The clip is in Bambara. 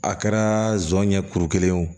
A kɛra zon ye kuru kelen ye wo